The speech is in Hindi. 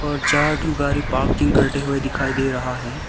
और चार ठो गारी पार्किंग करते हुए दिखाई दे रहा है।